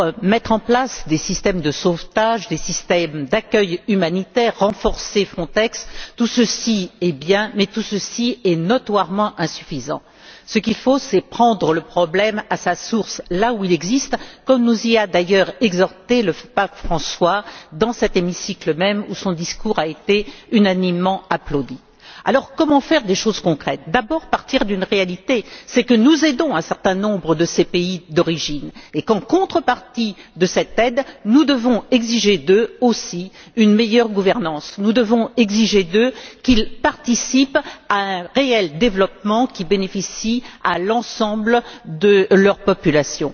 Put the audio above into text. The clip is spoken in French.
Mettre en place des systèmes de sauvetage et d'accueil humanitaire ou renforcer Frontex, c'est bien, mais c'est notoirement insuffisant. Ce qu'il faut, c'est prendre le problème à sa source, là où il existe, comme nous y a d'ailleurs exhortés le pape François, dans cet hémicycle même, où son discours a été unanimement applaudi. Comment agir concrètement? D'abord, il faut partir de la réalité. Nous aidons un certain nombre de ces pays d'origine. En contrepartie de cette aide, nous devons exiger d'eux, aussi, une meilleure gouvernance. Nous devons exiger d'eux qu'ils participent à un réel développement qui bénéficie à l'ensemble de leur population.